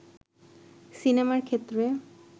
সিনেমার ক্ষেত্রে